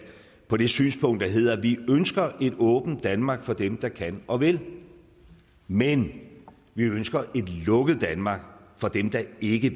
på det synspunkt der hedder vi ønsker et åbent danmark for dem der kan og vil men vi ønsker et lukket danmark for dem der ikke